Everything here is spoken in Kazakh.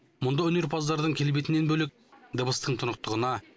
мұнда өнерпаздардың келбетінен бөлек дыбыстың тұнықтығына